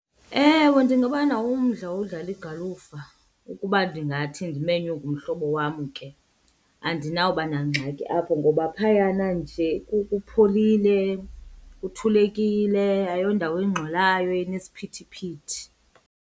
Ewe, ndinganawo umdla wodlala igalufa ukuba ndingathi ndimenywe ngumhlobo wam ke. Andinawuba nangxaki apho ngoba phayana nje kupholile, kuthulekile, ayondawo engxolayo enesiphithiphithi.